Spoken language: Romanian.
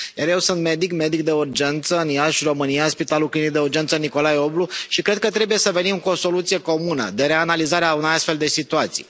Eu sunt medic, medic de urgență în Iași, România, Spitalul Clinic de Urgență Nicolae Oblu și cred că trebuie să venim cu o soluție comună, de reanalizare a unor astfel de situații.